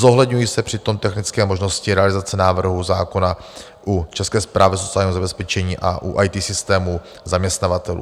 Zohledňují se přitom technické možnosti realizace návrhů zákona u České správy sociálního zabezpečení a u IT systémů zaměstnavatelů.